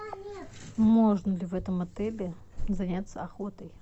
можно ли в этом отеле заняться охотой